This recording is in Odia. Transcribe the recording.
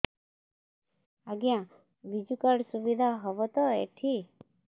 ଆଜ୍ଞା ବିଜୁ କାର୍ଡ ସୁବିଧା ହବ ତ ଏଠି